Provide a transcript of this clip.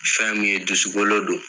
Fɛnmu ye dusukolo don